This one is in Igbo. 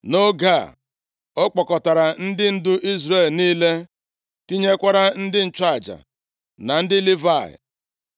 Nʼoge a, ọ kpọkọtara ndị ndu Izrel niile, tinyekwara ndị nchụaja na ndị Livayị.